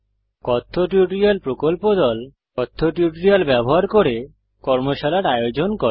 কথ্য টিউটোরিয়াল প্রকল্প দল কথ্য টিউটোরিয়াল ব্যবহার করে কর্মশালার আয়োজন করে